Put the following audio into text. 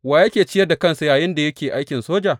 Wa yake ciyar da kansa yayinda yake aikin soja?